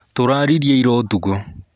Tũraririe ira ũtukũ.